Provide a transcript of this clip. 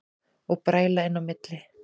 Og bræla inn í milli.